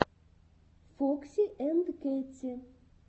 фокси анд кэтти